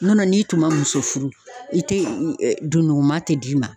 Nɔn tɛ n'i tun ma muso furu i te dunukuman te d'i ma.